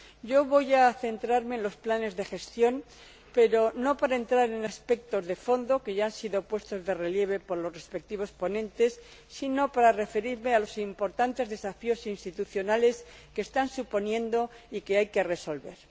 Yo voy a centrarme en los planes de gestión, pero no para entrar en aspectos de fondo que ya han sido puestos de relieve por los respectivos ponentes sino para referirme a los importantes desafíos institucionales que están suponiendo y que hay que resolver.